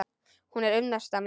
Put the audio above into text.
Hún er unnusta mín!